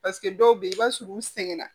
Paseke dɔw bɛ yen i b'a sɔrɔ u sɛgɛnna